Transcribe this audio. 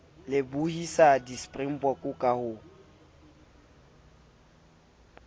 lebohisa di springbok ka ho